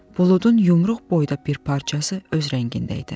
Buludun yumruq boyda bir parçası öz rəngində idi.